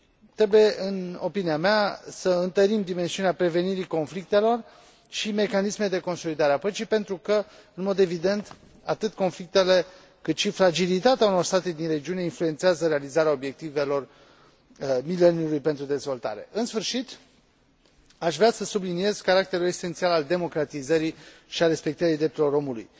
Trebuie, în opinia mea, să întărim dimensiunea prevenirii conflictelor și mecanismele de consolidare a politicii pentru că, în mod evident, atât conflictele cât și fragilitatea unor state din regiune influențează realizarea Obiectivelor de Dezvoltare ale Mileniului în sfârșit, aș vrea să subliniez caracterul esențial al democratizării și al respectării drepturilor omului.